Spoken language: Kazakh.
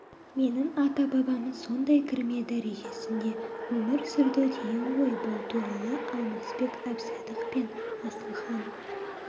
менің ата-бабам сондай кірме дәрежесінде өмір сүрді деген ғой бұл туралы алмасбек әбсадық пен асылхан